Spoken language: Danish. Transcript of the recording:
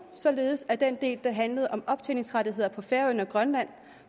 således at den del der handlede om optjeningrettighederne på færøerne og grønland